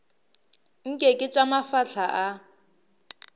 nke ke tša mafahla a